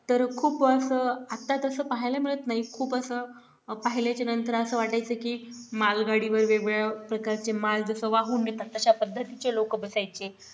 तर खूप असं आता तसं पाहायला मिळत नाही खूप असं पाहिल्याचे नंतर असं वाटायचे की मालगाडीवर वेगवेगळ्या प्रकारचे माल जसा वाहून नेतात तशा पद्धतीचे लोक बसायचे